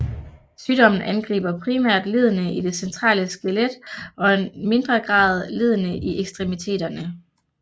Sygdommen angriber primært leddene i det centrale skelet og mindre grad leddene i ekstremiteterne